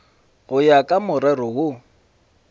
go ya ka morero wo